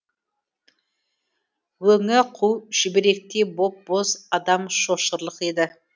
өңі қу шүберектей боп боз адам шошырлық еді